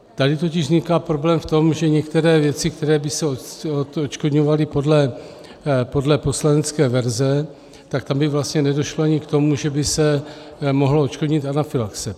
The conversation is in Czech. Tady totiž vzniká problém v tom, že některé věci, které by se odškodňovaly podle poslanecké verze, tak tam by vlastně nedošlo ani k tomu, že by se mohla odškodnit anafylaxe.